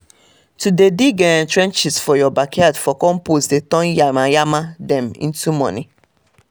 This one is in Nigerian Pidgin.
to dey dig um trenches for your backyard for compost dey turn yamayama dem into money